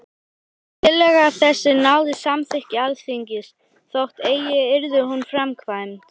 Tillaga þessi náði samþykki Alþingis, þótt eigi yrði hún framkvæmd.